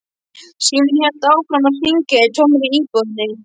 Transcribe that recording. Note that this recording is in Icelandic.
Síminn hélt áfram að hringja í tómri íbúðinni.